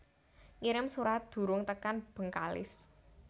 Ngirim surat durung tekan Bengkalis